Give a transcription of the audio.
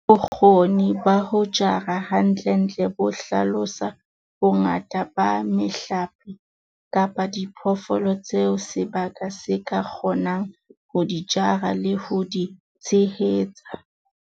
Bokgoni ba ho jara hantlentle bo hlalosa bongata ba mehlape kapa diphoofolo tseo sebaka se ka kgonang ho di jara le ho di tshehetsa.